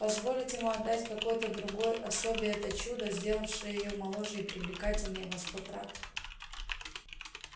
позволить ему отдать какой-то другой особе это чудо сделавшее её моложе и привлекательнее во сто крат